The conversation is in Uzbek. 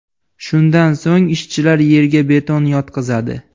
Shundan so‘ng ishchilar yerga beton yotqizadi.